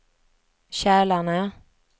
Kälarne